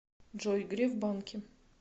джой греф банки